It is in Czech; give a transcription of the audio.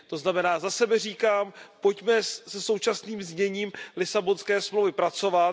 To znamená, za sebe říkám Pojďme se současným zněním Lisabonské smlouvy pracovat.